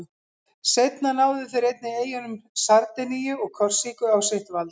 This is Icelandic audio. Seinna náðu þeir einnig eyjunum Sardiníu og Korsíku á sitt vald.